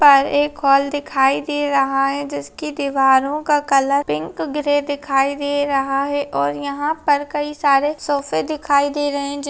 यहाँ पर एक हॉल दिखाई दे रहा है जिसके दिवारों का कलर पिंक ग्रे दिखाई दे रहा है और यहाँ पर कई सारे सोफे दिखाई दे रहे है जिन--